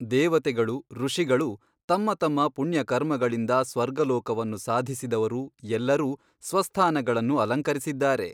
ದೇವತೆಗಳು ಋಷಿಗಳು ತಮ್ಮ ತಮ್ಮ ಪುಣ್ಯಕರ್ಮಗಳಿಂದ ಸ್ವರ್ಗಲೋಕವನ್ನು ಸಾಧಿಸಿದವರು ಎಲ್ಲರೂ ಸ್ವಸ್ಥಾನಗಳನ್ನು ಅಲಂಕರಿಸಿದ್ದಾರೆ.